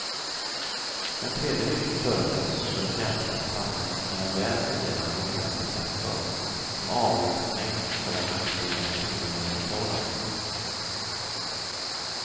En tredje viktig förutsättning för ett jämställt samhälle är en väl fungerande offentlig sektor som avlastning för den aktiva kvinnogenerationen.